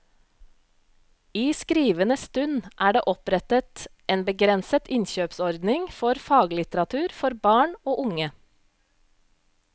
I skrivende stund er det opprettet en begrenset innkjøpsordning for faglitteratur for barn og unge.